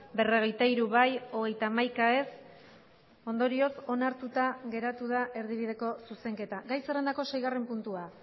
berrogeita hiru bai hogeita hamaika ez ondorioz onartuta geratu da erdibideko zuzenketa gai zerrendako seigarren puntua